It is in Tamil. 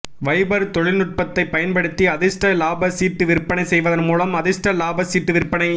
வைபர் தொழில்நுட்பத்தைப் பயன்படுத்தி அதிஷ்ட இலாப சீட்டு விற்பனை செய்வதன் மூலம் அதிஷ்ட இலாப சீட்டு விற்பனை